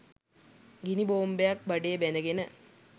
ගිනි බෝම්බයක් බඩේ බැඳ ගෙන